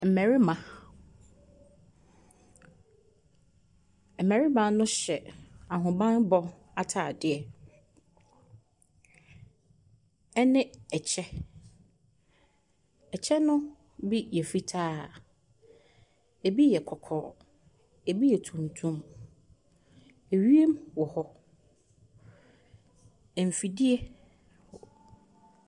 Mmarima. Mmarima no hyɛ ahobanbɔ ataadeɛ ɛne ɛkyɛ. Ɛkyɛ no bi yɛ fitaa, ebi yɛ kɔkɔɔ, ebi yɛ tumtum. Ɛwiemu wɔ hɔ. Mfidie.